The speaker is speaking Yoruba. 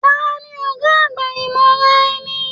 Taní ọgá àgbà imọraẹ̀ni?